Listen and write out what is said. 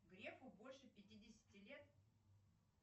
грефу больше пятидесяти лет